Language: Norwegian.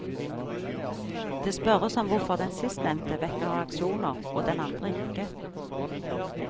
Det spørres om hvorfor den sistnevnte vekker reaksjoner, og den andre ikke.